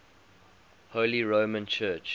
holy roman church